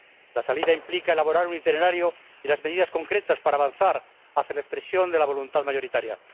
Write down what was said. La salida implica elaborar un itinerario y las medidas concretas para avanzar hacia la expresión de la voluntad mayoritaria.